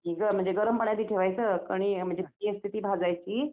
गं म्हणजे गरम पाण्यात ठेवायचं कणी म्हणजे भाजायची